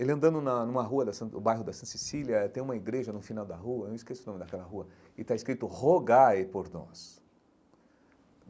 Ele andando na numa rua da San, no bairro da Santa Cecília, tem uma igreja no final da rua, eu esqueço o nome daquela rua, e está escrito Rogai por nós.